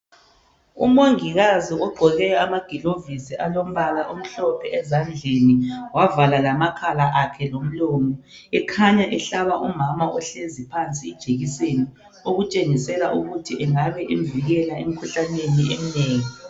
Umongikazi ogqoke amagilovisi alombala omhlophe ezandleni wavala lamakhala akhe lomlomo ekhanya ehlaba umama ohlezi phansi ijekiseni okutshengisela ukuthi ingabe imvikela emkhuhlaneni eminengi